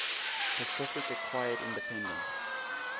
pacific acquired independence